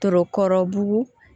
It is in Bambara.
Tokɔrɔbu